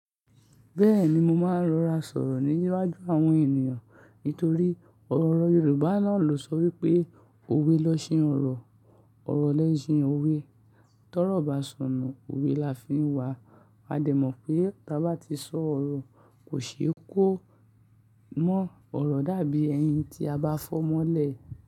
Bẹ́ẹ̀ni mo máa ń rora sọ̀rọ̀ níwájú àwọn ènìyàn nítorí ọ̀rọ̀ Yorùbá náà ló sọ wípé "òwe lẹ'ṣin ọ̀rọ̀, ọ̀rọ̀ lẹ'ṣin òwe". Tọ́rọ́ba sọnù, òwe la fi ń wá. A dẹ̀ mọ̀ pé tí a bá ti sọ ọ̀rọ̀ kò ṣe é kó mọ́ ọ̀rọ̀ dàbí ẹyin tí a bá fọ́ mọ́lẹ̀